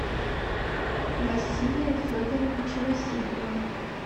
василия федоровича васильева